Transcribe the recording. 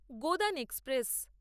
Godan express